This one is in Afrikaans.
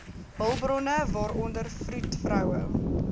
hulpbronne waaronder vroedvroue